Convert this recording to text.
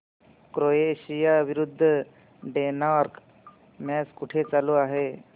Croatia विरुद्ध Denmark match कुठे चालू आहे